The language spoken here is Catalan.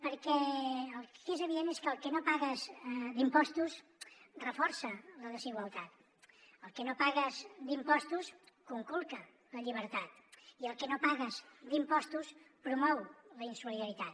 perquè el que és evident és que el que no pagues d’impostos reforça la desigualtat el que no pagues d’impostos conculca la llibertat i el que no pagues d’impostos promou la insolidaritat